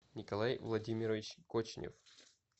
николай владимирович кочнев